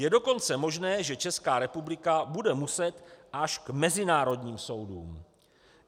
Je dokonce možné, že Česká republika bude muset až k mezinárodním soudům.